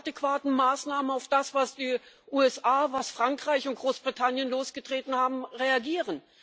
adäquaten Maßnahmen auf das, was die USA, Frankreich und Großbritannien losgetreten haben, reagiert?